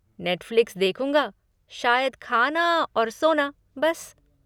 Netflix देखूँगा, शायद खाना और सोना बस।